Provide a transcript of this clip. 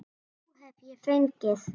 Þrjú hef ég fengið.